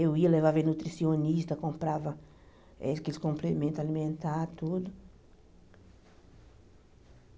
Eu ia, levava ele ao nutricionista, comprava eh aqueles complementos alimentares, tudo.